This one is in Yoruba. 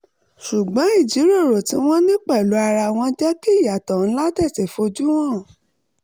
ṣùgbọ́n ìjíròrò tí wọ́n ní pẹ̀lú ara wọn jẹ́ kí ìyàtọ̀ ńlá tètè fojú hàn